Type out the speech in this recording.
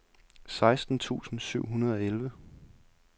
seksten tusind syv hundrede og elleve